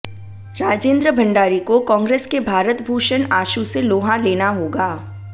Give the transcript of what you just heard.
राजेंद्र भंडारी को कांग्रेस के भारत भूषण आशु से लोहा लेना होगा